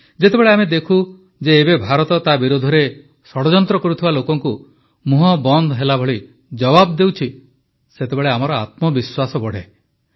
ଯେତେବେଳେ ଆମେ ଦେଖୁ ଯେ ଏବେର ଭାରତ ତା ବିରୋଧରେ ଷଡ଼ଯନ୍ତ୍ର କରୁଥିବା ଲୋକଙ୍କୁ ମୁହଁ ବନ୍ଦ ହେବା ଭଳି ଜବାବ ଦେଉଛି ସେତେବେଳେ ଆମର ଆତ୍ମବିଶ୍ୱାସ ବଢ଼େ